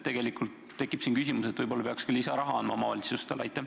Tegelikult tekib siin küsimus, et võib-olla peaks omavalitsustele lisaraha andma.